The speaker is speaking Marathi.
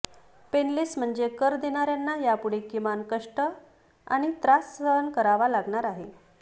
पेनलेस म्हणजे कर देणार्यांना यापुढे किमान कष्ट आणि त्रास सहन करावा लागणार आहे